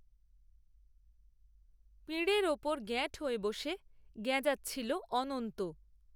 পিঁড়ের ওপর গ্যাঁট হয়ে বসে গ্যাঁজাচ্ছিল, অনন্ত